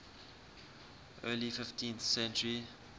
early fifteenth century